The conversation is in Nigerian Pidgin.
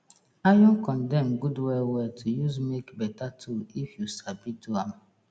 iron condem good well well to use make beta tool if you sabi do am